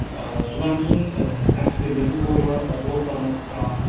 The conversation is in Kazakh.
ыыы содан кейін ыыы кәсіпкерлердің блоктарын оқып тұрамын